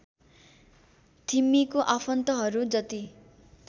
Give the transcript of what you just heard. थिम्मीको आफन्तहरू जति